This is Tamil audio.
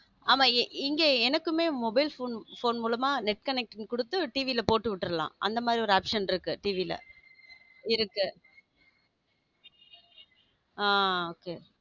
ஆமா எங்கேயுமே எனக்கும mobile phone மூலமா net connecting குடுத்து TV ல போட்டு விடலாம் அந்த மாதிரி ஒரு option இருக்க TV ல இருக்கு ஹம் okay